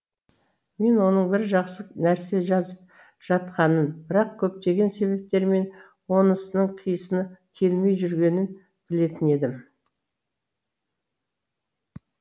мен оның бір жақсы нәрсе жазып жатқанын бірақ көптеген себептермен онысының қисыны келмей жүргенін білетін едім